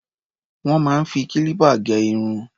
Wọ́n máa ń fi kílípà gé irun.